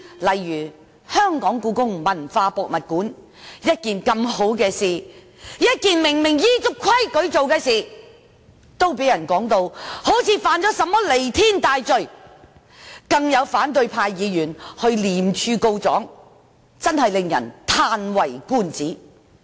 例如，設立香港故宮文化博物館本是一件好事，以及顯然依足規矩，但竟然被評為犯了彌天大罪般，更有反對派議員向廉政公署告狀，真的令人嘆為觀止。